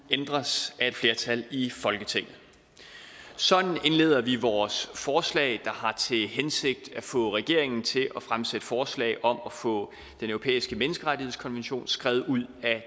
ændres af et flertal i folketinget sådan indleder vi vores forslag der har til hensigt at få regeringen til at fremsætte forslag om at få den europæiske menneskerettighedskonvention skrevet ud af